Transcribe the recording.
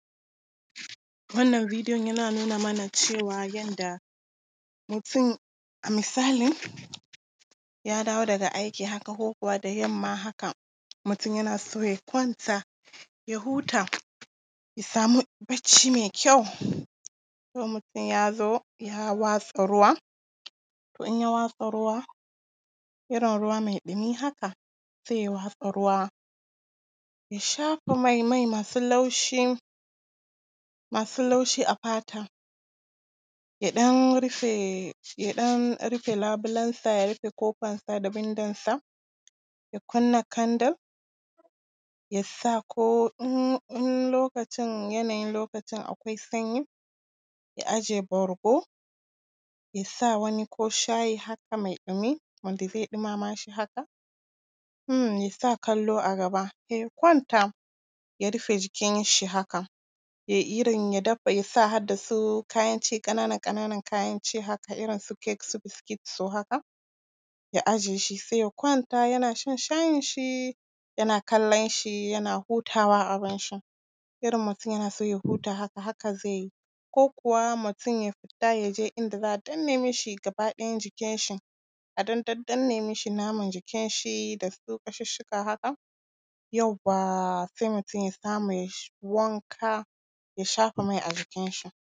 Wannan videon yana nuna mana cewa yadda mutum, misali ya dawo daga aiki haka, ko kuwa da yamma haka, mutum yana so ya kwanta, ya huta, ya samu barci mai kyau, ko mutum ya zo, ya watsa ruwa, to in ya watsa ruwa, irin ruwa mai ɗumi haka, sai ya watsa ruwa, ya shafa mai, mai masu laushi, masu laushi a fata, ya ɗan rufe, ya ɗan rufe labulensa, ya rufe ƙofansa da wundonsa, ya kunna candle, ya sa ko in… in lokacin, yanayin lokacin akwai sanyi, ya ajiye bargo, ya sa kowani shayi haka mai ɗumi, wanda zai ɗumama shi haka, ya sa kallo a gaba, ya kwanta, ya rufe jikinshi haka, ya irin… ya dafa.. ya sa har da su kayan ci ƙanana ƙananan kayan ci haka, irin su cake, su biscuits su haka, ya ajiye shi, sai ya kwanta, yana shan shayinshi, yana kallonshi, yana hutawa abinshi. Irin mutum yana so ya huta, haka zai yi, ko kuwa mutum ya fita, ya je inda za a danne mishi gaba ɗayan jikinshi, a ɗan daddanne mishi naman jikinshi da su ƙashusshuka haka.